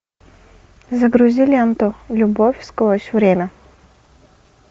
загрузи ленту любовь сквозь время